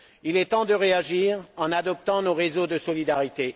Il est temps de réagir en adoptant nos réseaux de solidarité.